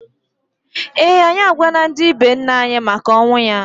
ee, anyị agwala ndị be nne anyi maka ọnwụ ya.